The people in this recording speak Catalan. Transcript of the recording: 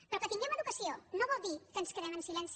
però que tinguem educació no vol dir que ens quedem en silenci